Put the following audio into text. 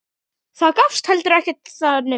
Það gafst heldur ekki vel.